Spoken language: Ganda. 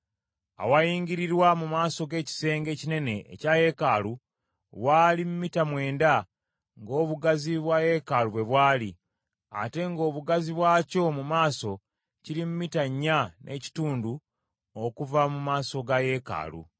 Awayingirirwa mu maaso g’ekisenge ekinene ekya yeekaalu, waali mita mwenda, ng’obugazi bwa yeekaalu bwe bwali, ate ng’obugazi bwakyo mu maaso kiri mita nnya n’ekitundu okuva mu maaso ga yeekaalu.